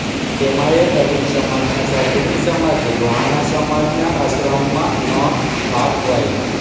તેમાંયે દલિત સમાજ ના સાધુ ની સમાધી લોહાણા સમાજ ના આશ્રમ માં ન આપવાય